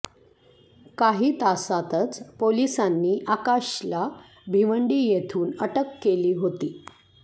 काही तासातच पोलिसांनी आकाशला भिवंडी येथून अटक केली होती